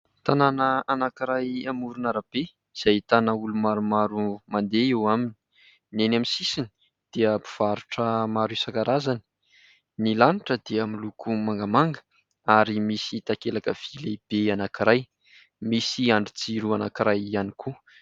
Tanàna anankiray amoron'arabe izay ahitana olona maromaro mandeha eo aminy. Ny eny amin'ny sisiny dia mpivarotra maro isan-karazany. Ny lanitra dia miloko mangamanga ary misy takelaka vy lehibe anankiray, misy andrin-jiro anankiray ihany koa.